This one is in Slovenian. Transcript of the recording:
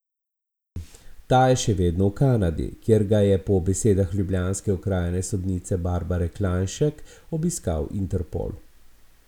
Ta je še vedno v Kanadi, kjer ga je po besedah ljubljanske okrajne sodnice Barbare Klajnšek obiskal Interpol.